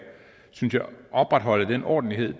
opretholde den ordentlighed